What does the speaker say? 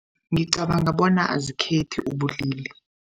Ngicabanga bona azikhethi ubulili.